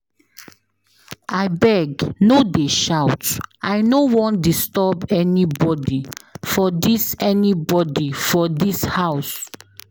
Abeg no dey shout I no want disturb anybody for dis anybody for dis house.